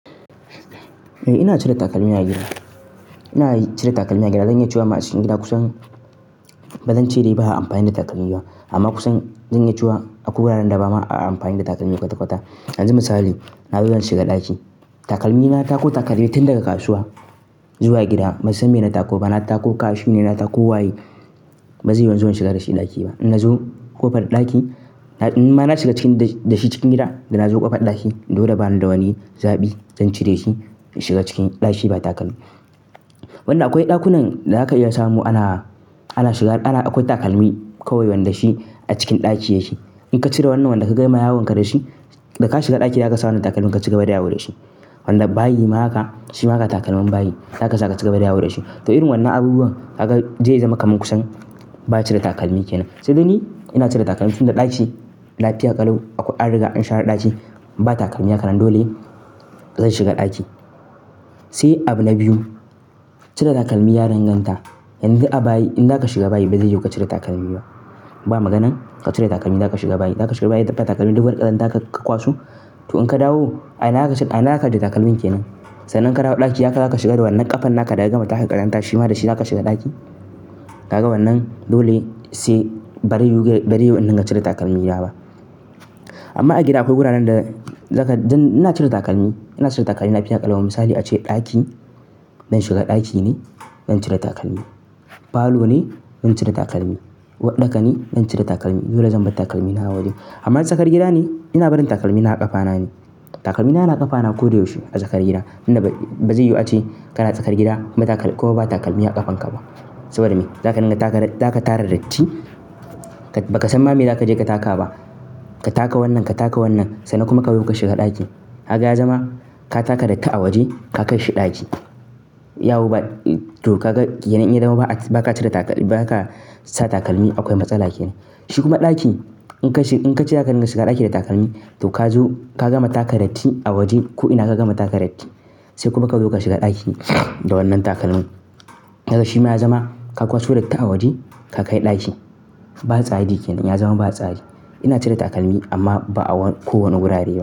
Eh ina cire takalmi a gida. Ina cire takalmi a gida, zan iya cewa masu cikin gida kusan bazan ce dai ba a amfani da takalmi ba amma kusan zan iya cewa akwai wuraren da ba ma a amfani da takalmi kwata kwata. Yanzu misali, na zo zan shiga ɗaki takalmi na, na tako takalmin tun daga kasuwa zuwa gida. Bai san me na tako ba, na tako kashi ne, na tako waye, ba zai yiwu in zo in shiga da shi ɗaki ba. In na zo ƙofar ɗaki, in ma na shiga da shi cikin gida, da na zo ƙofar ɗaki dole bani da wani zaɓi zan cire shi in shiga cikin ɗaki ba takalmi. Wanna akwai ɗakunan da zaka iya samu ana, ana shiga akwai takalmi kawai wanda shi a cikin ɗaki ya shi. In ka cire wannan wanda ka ga ma yawanka da shi, da ka shiga ɗaki ya gasa wannan takalmin ka shiga baya yawo da shi. Wanda bayi ma haka, shi ma ka takalmin bayi, zaka sa ka shiga baya yawo da shi. To irin wannan abubuwan aka je ya zama kamin kusan ba a cire takalmi kenan. Sai da ni ina cire takalmi tun da ɗaki, lafiya ƙalau, an riga an share ɗaki ba takalmi haka nan dole zan shiga ɗaki. Sai abu na biyu, cire takalmi ya ranganta. Yanzu a bayi, in zaka shiga bayi bazai yiwu ka cire takalmi ba. Ba maganan ka cire takalmi zaka shiga bayi. Zaka shiga bayi, dafawa takalmi duka ƙarar ƙazanta ka kwasu. To in ka dawo, a ina aka cire takalmin kenan? Sannan ka dawo ɗaki, ya kam haka shiga da wannan ƙafan da aka gama taka ƙazantar shi ma da shi ka shiga ɗaki. Kaga wannan dole sai bari yiwu, bari yiwu in nan ka cire takalmi na ba. Amma a gida akwai wuraren da zaka, ina cire takalmi. Ina cire takalmi lafiya ƙalubal misali ace ɗaki, don shiga ɗaki ne zan cire takalmi. Falo ne, zan cire takalmi. Waɗɗaka ne, zan cire takalmi. Dole zan bar takalmi na a waje. Amma in tsakar gida ne, ina barin takalmi na a ƙafa na ne. Takalmi na, na ƙafa na koyaushe a tsakar gida. Ina ba zai yiwu ace kana tsakar gida ko ba takalmi a ƙafan ka ba. Saboda me? Zaka tarar datti, ba ka san ma me za ka je ka taka ba. Ka taka wannan, ka taka wannan. Sannan kuma kawai ka shiga ɗaki. Haka ya zama ka taka dakka a waje ka kai shi ɗaki. Yawo ba, to ka ga yanayin ya zama ba ka cire takalmi, ba ka sa takalmi akwai matsala kenan. Shi kuma ɗaki in ka shiga ɗaki da takalmi, to ka zo ka gama taka datti a waje ko'ina ka gama taka datti. Sai kuma ka zo ka shiga ɗaki da wannan takalmin. Haka shi ma ya zama ka kawo su dakka a waje ka kai ɗaki. Ba tsari yake dan ya zama ba tsari. Ina cire takalmi amma ba a kowane wurare ba.